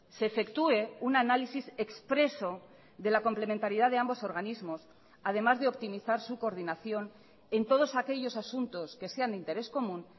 se efectúe un análisis expreso de la complementariedad de ambos organismos además de optimizar su coordinación en todos aquellos asuntos que sean de interés común